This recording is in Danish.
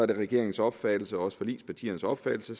det regeringens opfattelse og også forligspartiernes opfattelse